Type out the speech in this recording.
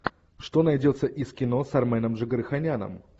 что найдется из кино с арменом джигарханяном